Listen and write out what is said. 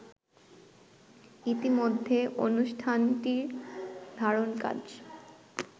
ইতোমধ্যে অনুষ্ঠানটির ধারণকাজ